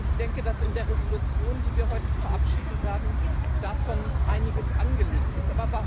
Ich denke, dass in der Entschließung, die wir heute verabschieden werden, davon einiges angelegt ist.